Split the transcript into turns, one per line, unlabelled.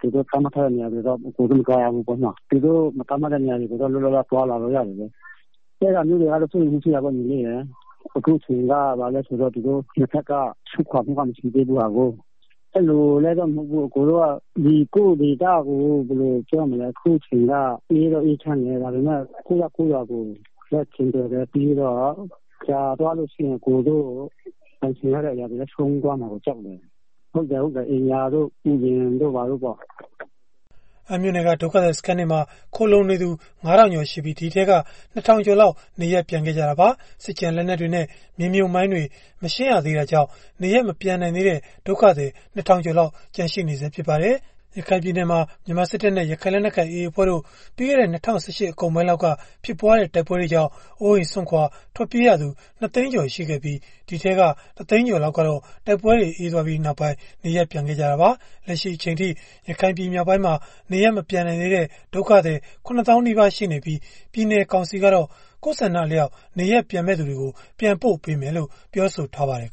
သူတို့သတ်မှတ်ထားတဲ့နေရာတွေကို မသွားရဘူးပေါ့နော်၊ သူတို့မသတ်မှတ်တဲ့နေရာတွေကိုတော့ လွတ်လွတ်လပ်လပ် သွားလာလို့ ရတယ်လေ၊ စိုးရိမ်မှုကတော့ ရှိတာပေါ့ဗျာ။ ဘယ်လို့လည်း ဆိုတော့ အခုအချိန် က သူတို့ နှစ်ဖက်လုံးက ဆုတ်ခွာမှုမှမရှိသေးတာကို။ကိုယ့်ဒေသကို ပြန်လာတာက အခုအချိန်က စစ်ရေးလည်း အေးချမ်းနေတယ်၊ ပြီးတော့ ကြာသွာလို့ရှိရင် ကိုယ်ပိုင်ဆိုင်တဲ့အရာတွေကို ဆုံးရှုံးသွားမှာကို ကြောက်တယ်၊ အိမ်တို့ ယာတို့ သီးပင်တွေတို့ပေါ့၊”
အမ်းမြို့နယ် အတွင်းက စစ်ပြေးဒုက္ခသည်စခန်းတွေမှာ ဒုက္ခသည် ငါးထောင်ကျော် နေထိုင်ကြပါတယ်။ အဲဒီထဲက နှစ်ထောင်ကျော်လောက် နေရပ်ပြန်သွားကြတာဖြစ်သလို လက်ရှိမှာတော့ စစ်ကျန်လက်နက်တွေနဲ့ မြေမြှပ်မိုင်းတွေ မရှင်းရသေးတာကြောင့် နေရပ်မပြန်နိုင်သေးတဲ့ စစ်ဘေးဒုက္ခသည် ၂ထောင်ကျော်လောက် ကျန်နေသေး တာ လည်းဖြစ်ပါတယ်။ ရခိုင်ပြည်နယ်မှာ အစိုးရတပ်နဲ့ ရခိုင်လက်နက်ကိုင်AAအဖွဲ့တို့ ပြီးခဲ့တဲ့ ၂၀၁၈အကုန်ပိုင်းလောက်က ဖြစ်ပွားခဲ့တဲ့ တိုက်ပွဲတွေကြောင့် အိုးအိမ်စွန့်ခွာထွက်ပြေးလာရသူ နှစ်သိန်းကျော်အထိ ရှိခဲ့ပြီး အဲဒီထဲက တသိန်းကျော်လောက်ကတော့ တိုက်ပွဲတွေ မရှိတော့တာကြောင့် နေရပ်ပြန်သွားကြပြီ။ လက်ရှိအချိန်ထိ ရခိုင်ပြည် မြောက်ပိုင်းမှာ နေရပ်မပြန်နိုင်သေးတဲ့ စစ်ဘေးဒုက္ခသည် ၇သောင်းနီးပါးအထိရှိနေပြီး ပြည်နယ်ကောင်စီကတော့ မိမိသဘောဆန္ဒအလျောက် နေရပ်ပြန်မယ့်သူတွေကို နေရပ်ပြန်ပို့ပေးမယ်လို့ ပြောဆိုထားပါတယ်